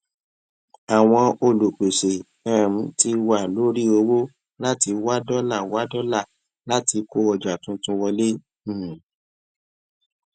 àwọn olùpèsè um ti wà lórí ọwọ láti wá dọlà wá dọlà láti kó ọjà tuntun wọlé um